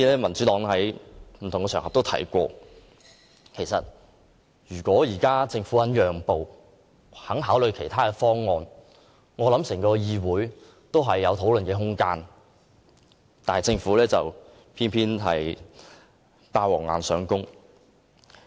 民主黨曾在不同的場合表示，要是政府肯作出讓步，願意考慮其他方案，立法會便會有討論空間，但政府偏要"霸王硬上弓"。